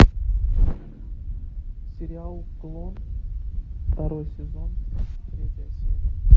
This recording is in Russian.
сериал клон второй сезон третья серия